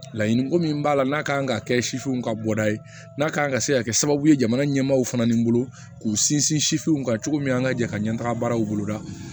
Laɲiniko min b'a la n'a kan ka kɛ sifinw ka bɔda ye n'a ka kan ka se ka kɛ sababu ye jamana ɲɛmaw fana ni bolo k'u sinsin sifinw ka cogo min an ka jɛ ka ɲɛ taga baaraw boloda